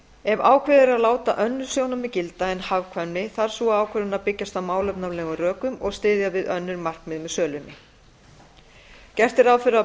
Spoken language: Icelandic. ef ákveðið er að láta önnur sjónarmið gilda en hagkvæmni þarf sú ákvörðun að byggjast á málefnalegum rökum og styðja við önnur markmið með sölunni gert er ráð fyrir að